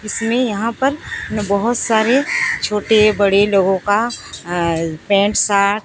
इसमें यहां पर बहुत सारे छोटे बड़े लोगों का अं पैंट सार्ट --